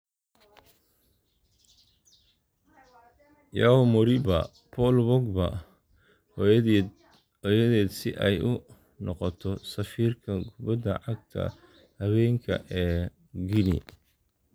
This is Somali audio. Yeo Moriba: Paul Pogba hooyadeed si ay u noqoto safiirka kubbadda cagta haweenka ee Guinea